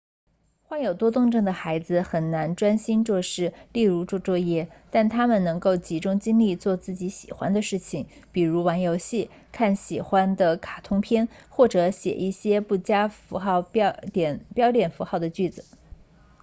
患有多动症的孩子很难专心做事例如做作业但他们能够集中精力做自己喜欢的事情比如玩游戏看喜欢的卡通片或者写一些不加标点符号的句子